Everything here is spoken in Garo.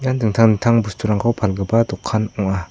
dingtang dingtang bosturangko palgipa dokan ong·a.